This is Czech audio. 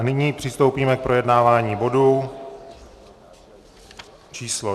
A nyní přistoupíme k projednávání bodu číslo